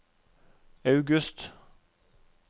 august